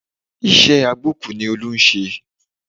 Iṣẹ́ agbókùú ni Olú ń ṣe